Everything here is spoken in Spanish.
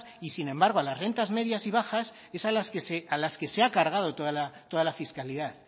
y sin embargo a las rentas medias y bajas es a las que se ha cargado toda la fiscalidad